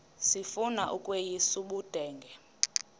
sifuna ukweyis ubudenge